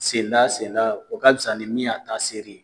Senda senda o ka fisa ni min y'a ta seri.